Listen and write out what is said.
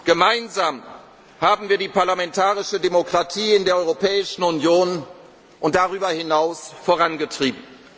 konnten. Gemeinsam haben wir die parlamentarische Demokratie in der Europäischen Union und darüber hinaus vorangetrieben.